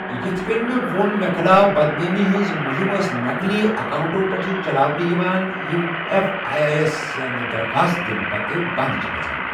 یِتھہٕ کٔنہِ مےٚ ووٚن، مےٚ خِلاف بدنٲمی ہنٛز مُہِم ٲس نقلی اَکاوُنٹو پیٚٹھٕ چَلاونہٕ یِوان یِم ایٚف آے اے یس سٲنہِ درخواست دِنہٕ پتہٕ بنٛد چھِ گَژھان۔